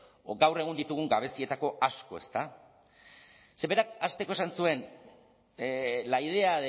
gaur egun ditugun gabezietako asko ezta ze berak hasteko esan zuen la idea